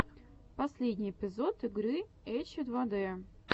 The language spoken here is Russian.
последний эпизод игры эчедвадэ